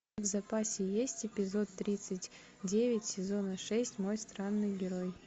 в запасе есть эпизод тридцать девять сезона шесть мой странный герой